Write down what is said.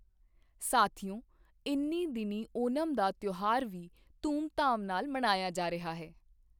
ਸਾਥੀਓ, ਇਨ੍ਹੀਂ ਦਿਨੀਂ ਓਣਮ ਦਾ ਤਿਓਹਾਰ ਵੀ ਧੂਮਧਾਮ ਨਾਲ ਮਨਾਇਆ ਜਾ ਰਿਹਾ ਹੈ।